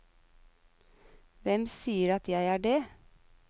Hvem sier at jeg er dét?